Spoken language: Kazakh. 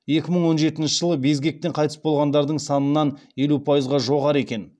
екі мың он жетінші жылы безгектен қайтыс болғандардың санынан елу пайызға жоғары екен